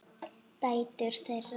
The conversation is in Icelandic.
Dætur þeirra